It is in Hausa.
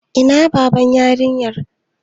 Ina Baban yarinyar?